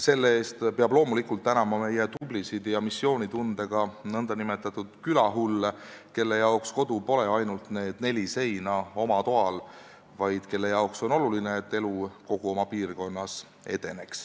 Selle eest peab loomulikult tänama meie tublisid ja missioonitundega nn külahulle, kellele pole kodu ainult oma toa neli seina, vaid kellele on oluline, et elu edeneks kogu piirkonnas.